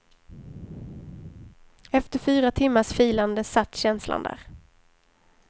Efter fyra timmars filande satt känslan där.